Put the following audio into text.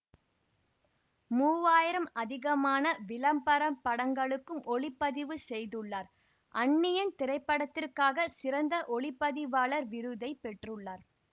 மூன்று ஆயிரம் அதிகமான விளம்பரப்படங்களுக்கும் ஒளிப்பதிவு செய்துள்ளார் அந்நியன் திரைப்படத்திற்காக சிறந்த ஒளி பதிவாளர் விருதை பெற்றுள்ளார்